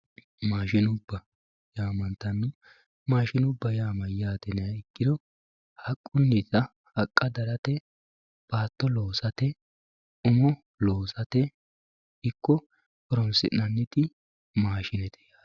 maashinubba yaa mayyaate? maashinubba yaa mayyaate yiniha ikkiro haqqunnita haqqa darate baatto loosate umo loosate ikko horonsi'nanniti maashinete